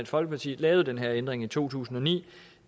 folkeparti lavede den her ændring i to tusind og ni